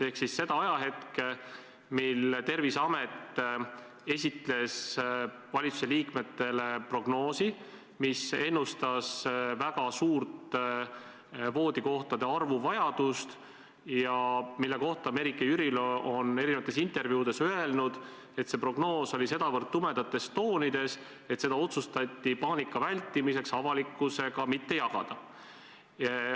Pean silmas seda ajahetke, mil Terviseamet esitles valitsuse liikmetele prognoosi, mis ennustas lisavajadust väga paljude voodikohtade järele ja mille kohta Merike Jürilo on erinevates intervjuudes öelnud, et see prognoos oli sedavõrd tumedates toonides, et seda otsustati paanika vältimiseks avalikkusega mitte jagada.